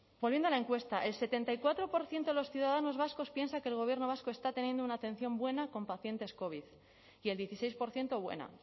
volviendo a la encuesta el setenta y cuatro por ciento de los ciudadanos vascos piensa que el gobierno vasco está teniendo una atención buena con pacientes covid y el dieciséis por ciento buena